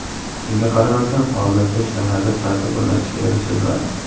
Shunga qaramasdan, hozircha shaharda tartib o‘rnatishga erishilmadi.